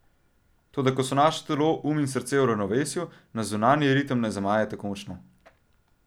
Toda ko so naše telo, um in srce v ravnovesju, nas zunanji ritem ne zamaje tako močno.